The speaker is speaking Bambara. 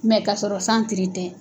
ka sɔrɔ san tiri tɛ.